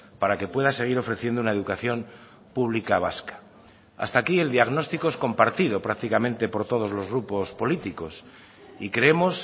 para que pueda seguir ofreciendo una educación pública vasca hasta aquí el diagnóstico es compartido prácticamente por todos los grupos políticos y creemos